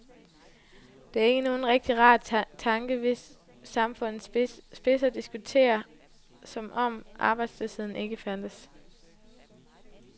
Det er ikke nogen rigtig rar tanke, hvis samfundets spidser diskuterer, som om arbejdsløsheden ikke fandtes.